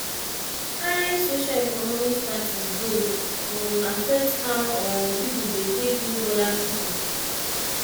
high social economic status dey um affect how um pipo take dey meet oda pipo